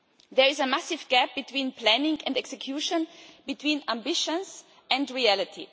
There is a massive gap between planning and execution, between ambitions and reality.